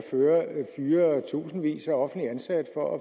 fyre tusindvis af offentligt ansatte for